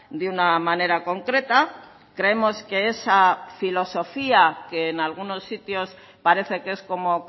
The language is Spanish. de una manera concreta creemos que esa filosofía que en algunos sitios parece que es como